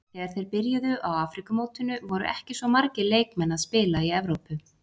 Þegar þeir byrjuðu á Afríkumótinu voru ekki svo margir leikmenn að spila í Evrópu.